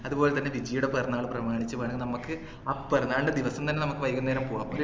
അതുപോലെതന്നെ വിജിയുടെ പിറന്നാള് പ്രമാണിച്ച് വേണമെങ്കിൽ നമ്മക്ക് ആ പിറന്നാളിന്റെ ദിവസം തന്നെ നമ്മക്ക് വൈകുന്നേരം പോകാം